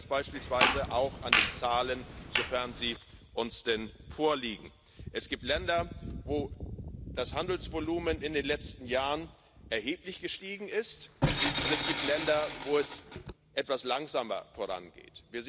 Sie sehen das beispielsweise auch an den Zahlen, sofern sie uns denn vorliegen Es gibt Länder, wo das Handelsvolumen in den letzten Jahren erheblich gestiegen ist, und es gibt Länder, wo es etwas langsamer vorangeht.